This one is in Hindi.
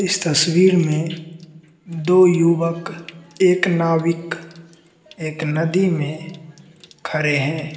इस तस्वीर में दो युवक एक नाविक एक नदी में खड़े हैं।